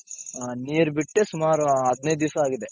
ನೀರ್ ಬಿಟ್ಟೆ ಸುಮಾರು ಹದಿನೈದ್ ದಿಸ ಆಗಿದೆ.